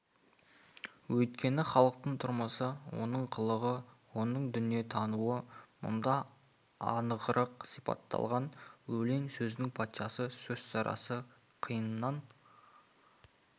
өйткені халықтың тұрмысы оның қылығы оның дүниетануы мұнда анығырақ сипатталған өлең сөздің патшасы сөз сарасы қиыннан